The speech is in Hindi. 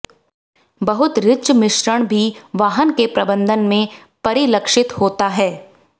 बहुत रिच मिश्रण भी वाहन के प्रबंधन में परिलक्षित होता है